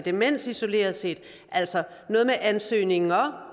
demens isoleret set altså noget med ansøgninger